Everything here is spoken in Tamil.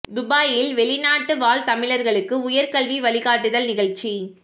துபாயில் வெளிநாட்டு வாழ் தமிழர்களுக்கு உயர் கல்வி வழிகாட்டுதல் நிகழ்ச்சி